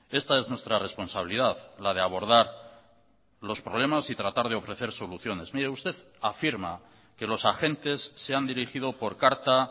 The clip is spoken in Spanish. esta es nuestra responsabilidad la de abordar los problemas y tratar de ofrecer soluciones mire usted afirma que los agentes se han dirigido por carta